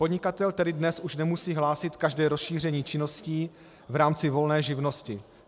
Podnikatel tedy dnes už nemusí hlásit každé rozšíření činností v rámci volné živnosti.